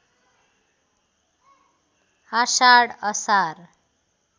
आषाढ असार